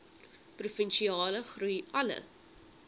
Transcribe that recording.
provinsiale groei alle